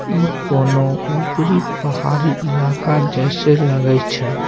ई कोनो ऊपरी पहाड़ी इलाका जैसे लगे छै।